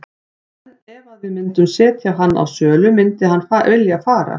En ef að við myndum setja hann á sölu myndi hann vilja fara?